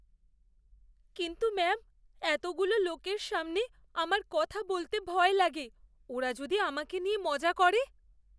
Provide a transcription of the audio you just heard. কিন্তু ম্যাম এতগুলো লোকের সামনে আমার কথা বলতে ভয় লাগে। ওরা যদি আমাকে নিয়ে মজা করে।